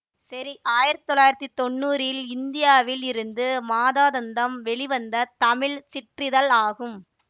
சேரி ஆயிரத்தி தொள்ளாயிரத்தி தொன்னூறில் இந்தியாவில் இருந்து மாதாந்தம் வெளிவந்த தமிழ் சிற்றிதழ் ஆகும்